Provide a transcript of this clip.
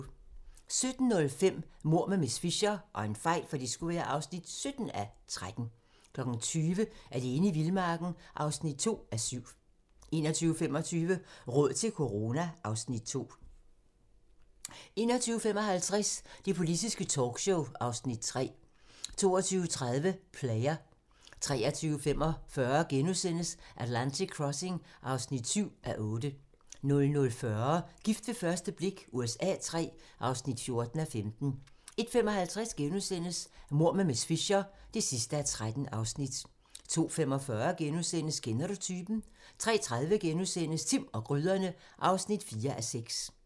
17:05: Mord med miss Fisher (17:13) 20:00: Alene i vildmarken (2:7) 21:25: Råd til corona (Afs. 2) 21:55: Det politiske talkshow (Afs. 3) 22:30: Player 23:45: Atlantic Crossing (7:8)* 00:40: Gift ved første blik USA III (14:15) 01:55: Mord med miss Fisher (13:13)* 02:45: Kender du typen? * 03:30: Timm og gryderne (4:6)*